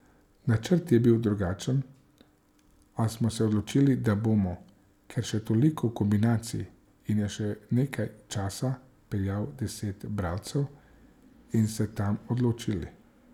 Načrt je bil drugačen, a smo se odločili, da bomo, ker je še toliko kombinacij in je še nekaj časa, peljali deset branilcev in se tam odločili.